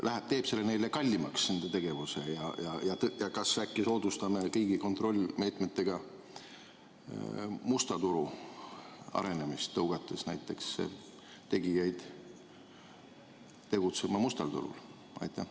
Kas see teeb neile nende tegevuse kallimaks ja kas äkki soodustame riigi kontrollmeetmetega musta turu arenemist, tõugates näiteks tegijaid tegutsema mustale turule?